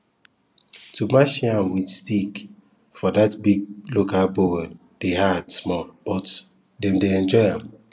to mash yam with stick for that big local bowl dey hard small but dem dey enjoy am